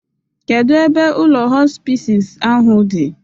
Kedu ebe ụlọ hospisis ahụ dị?